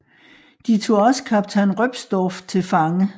De tog også kaptajn Röpsdorf til fange